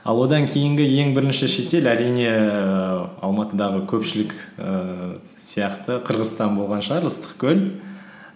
ал одан кейінгі ең бірінші шетел әрине ііі алматыдағы көпшілік ііі сияқты қырғызстан болған шығар ыстықкөл